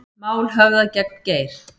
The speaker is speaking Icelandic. Mál höfðað gegn Geir